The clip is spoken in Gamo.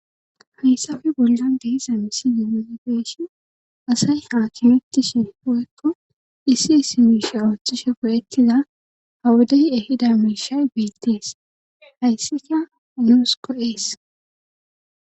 hayssafe bollan deisa misi yimosegeeshi asay haakimetti shin hu7ekko issi issi miisha ooththishe poyettiza hawudey ehida miishay beettees haysseka luus ko ees